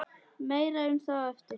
Meira um það á eftir.